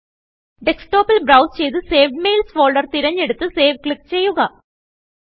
ഡെസ്ക്ടോപ്പിൽ browse ചെയ്ത് saved Mailsഫോൾഡർ തിരഞ്ഞെടുത്ത് സേവ് ക്ലിക്ക് ചെയ്യുക